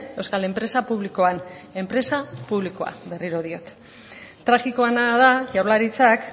euskal enpresa publikoan enpresa publikoa berriro diot tragikoena da jaurlaritzak